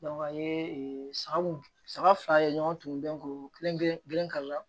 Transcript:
a ye saga mun saga fila ye ɲɔgɔn turulen ko kelen kelen kali la